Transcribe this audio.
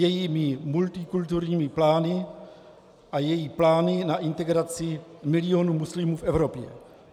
Její multikulturní plány a její plány na integraci milionů muslimů v Evropě.